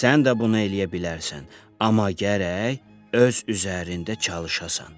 Sən də bunu eləyə bilərsən, amma gərək öz üzərində çalışasan.